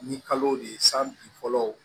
Ni kalow de ye san bin fɔlɔ